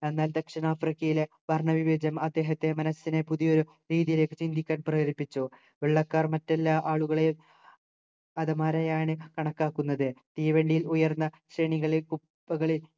അന്നാൽ ദക്ഷിണാഫ്രിക്കയിലെ വർണവിവേചനം അദ്ദേഹത്തെ മനസിനെ പുതിയൊരു രീതിയിലേക്ക് ചിന്തിക്കാൻ പ്രേരിപ്പിച്ചു വെള്ളക്കാർ മറ്റെല്ലാ ആളുകളെയും അധമരായാണ് കണക്കാക്കുന്നത് തീവണ്ടിയിൽ ഉയർന്ന ശ്രേണികളിൽ കുപ്പകളിൽ